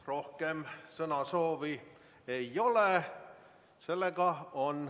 Rohkem sõnasoovi ei ole.